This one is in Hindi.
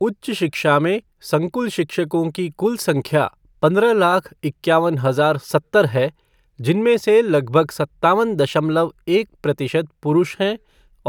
उच्च शिक्षा में संकुल शिक्षकों की कुल संख्या पंद्रह लाख, इक्यावन हजार सत्तर है, जिनमनें से लगभग सत्तावन दशमलव एक प्रतिशत पुरुष हैं